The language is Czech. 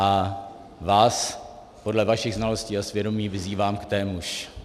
A vás, podle vašich znalostí a svědomí, vyzývám k témuž.